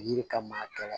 Yiri ka matara